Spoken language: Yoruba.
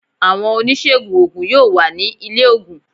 Àwọn oníṣègùn oògùn yóò wà ní ilé oògùn